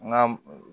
N ka